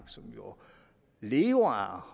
som jo lever